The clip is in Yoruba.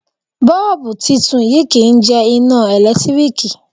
Bọ́ọ̀bú titun yìí kì í jẹ iná ẹ̀lẹ́tíríkì.